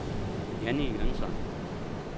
Jannie Jønsson